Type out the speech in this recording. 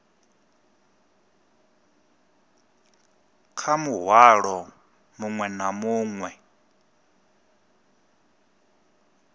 kha muhwalo muṅwe na muṅwe